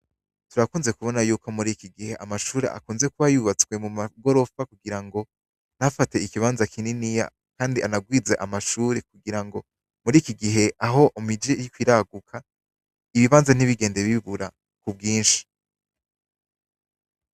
Turakunze kubona ko muriki gihe amashure akunze kuba yubatswe mu magorofa kugira ngo ntafate ikibanza kininiya kandi anagwize amashure kugira ngo muriki gihe aho imiji iriko iraguka, ibibanza ntibigende bibura ku bwinshi.